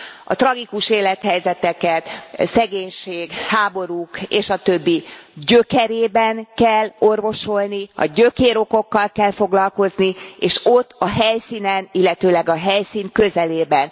A tragikus élethelyzeteket szegénység, háborúk és a többi gyökerében kell orvosolni, a gyökérokokkal kell foglalkozni, és ott a helyszínen, illetőleg a helyszín közelében.